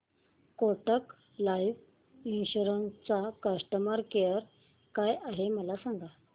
Kotak life insurance चा customer care काय आहे मला सांगा